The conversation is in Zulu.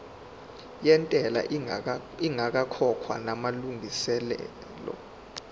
yentela ingakakhokhwa namalungiselo